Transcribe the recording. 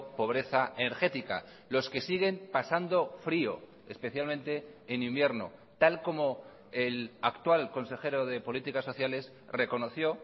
pobreza energética los que siguen pasando frio especialmente en invierno tal como el actual consejero de políticas sociales reconoció